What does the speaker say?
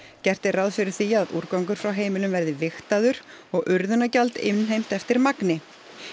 gert er ráð fyrir því að úrgangur frá heimilum verði vigtaður og innheimt eftir magni